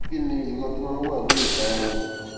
kí ni ìrora tó máa ń wà ní ìta ọrùn